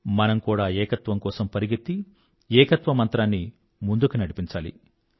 మనం కూడా ఏకత్వం కోసం పరిగెత్తి ఏకత్వ మంత్రాన్ని ముందుకు నడిపించాలి